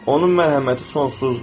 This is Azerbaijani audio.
Onun mərhəməti sonsuzdur.